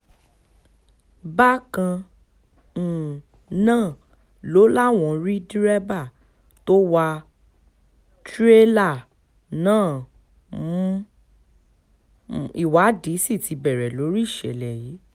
bákan um náà ló láwọn rí dẹ́rẹ́bà tó wá tìrẹ́là náà mú um ìwádìí sí ti bẹ̀rẹ̀ lórí ìṣẹ̀lẹ̀ yìí